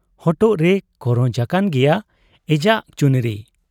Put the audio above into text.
ᱦᱚᱴᱚᱜ ᱨᱮ ᱠᱚᱨᱚᱡ ᱟᱠᱟᱱ ᱜᱮᱭᱟ ᱮᱡᱟᱜ ᱪᱩᱱᱨᱤ ᱾